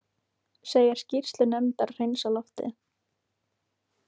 Segir skýrslu nefndar hreinsa loftið